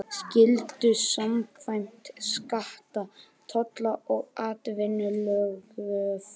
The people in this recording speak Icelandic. skyldu samkvæmt skatta-, tolla- og atvinnulöggjöf.